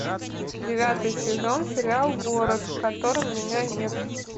девятый сезон сериал город в котором меня нет